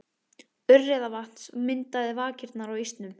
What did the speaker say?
Urriðavatns myndaði vakirnar á ísnum.